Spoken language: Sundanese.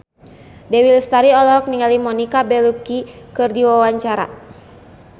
Dewi Lestari olohok ningali Monica Belluci keur diwawancara